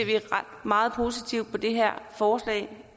meget positivt på det her forslag